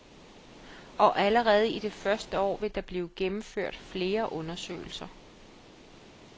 Og allerede i det første år vil der blive gennemført flere undersøgelser.